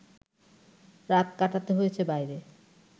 রাত কাটাতে হয়েছে বাইরে